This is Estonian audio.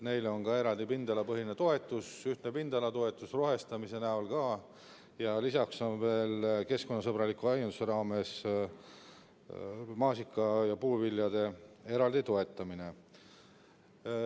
Neile on ka eraldi pindalapõhine toetus, ühtne pindalatoetus rohestamise näol, ja lisaks on keskkonnasõbraliku aianduse raames maasikate ja puuviljade kasvatamise toetamine.